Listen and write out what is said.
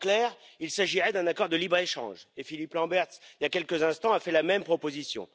En clair, il s'agirait d'un accord de libre échange et Philippe Lamberts, il y a quelques instants, a fait la même proposition.